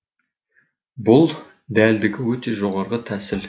бұл дәлдігі өте жоғарғы тәсіл